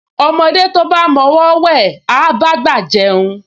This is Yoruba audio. Ọmọdé tí ó bá máa mọ ọwọọ́ wẹ̀, á bá àgbà jẹun